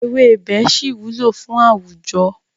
Ewébẹ̀ ṣì wúlò fún àwùjọ.